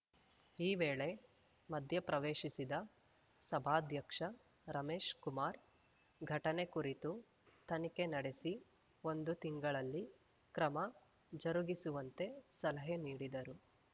ಈ ವೇಳೆ ಮಧ್ಯಪ್ರವೇಶಿಸಿದ ಸಭಾಧ್ಯಕ್ಷ ರಮೇಶ್‌ ಕುಮಾರ್‌ ಘಟನೆ ಕುರಿತು ತನಿಖೆ ನಡೆಸಿ ಒಂದು ತಿಂಗಳಲ್ಲಿ ಕ್ರಮ ಜರುಗಿಸುವಂತೆ ಸಲಹೆ ನೀಡಿದರು